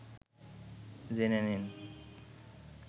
জেনে নিন